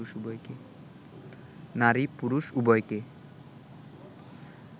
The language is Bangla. নারী-পুরুষ উভয়কে